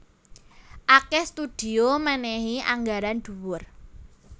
Akèh studio mènèhi anggaran dhuwur